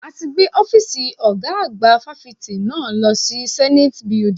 A ti gbé Ọ́fíìsì ọ̀gá àgbà fáfitì náà lọ sí Zenate Building.